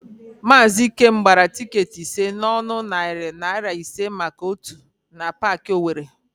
Maazị Ikem gbara tịketị ise n'ọnụ narị naịra ise maka ótù na Paakị Owere.